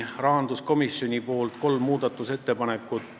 Rahanduskomisjonilt oli kolm muudatusettepanekut.